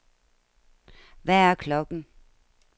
Hvad er klokken